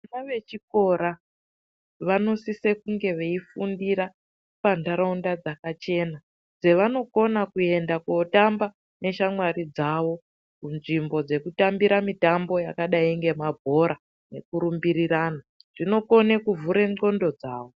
Vana vechikora vanosisie kunge vechifundira pandaraunda dzakachena. Dzavanokona kuenda kundotamba neshamwari dzawo munzvimbo dzekutambira mutambo yakadai ngemabhora nekurumbirirana. Zvinokone kuvhura nxondo dzawo.